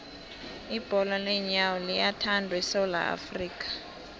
ibholo leenyawo liyathandwa esewula afrika